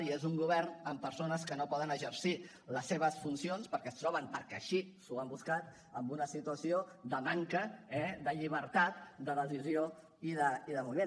i és un govern amb persones que no poden exercir les seves funcions perquè es troben perquè així s’ho han buscat en una situació de manca eh de llibertat de decisió i de moviment